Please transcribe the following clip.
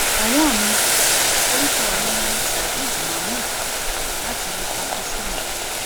ọwọn mi orúkọ mi ni sajid mahmood láti pakistan